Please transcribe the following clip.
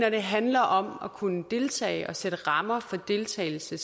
at det handler om at kunne deltage og sætte rammer for deltagelse